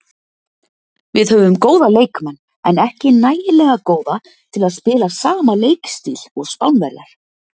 Við höfum góða leikmenn en ekki nægilega góða til að spila sama leikstíl og Spánverjar.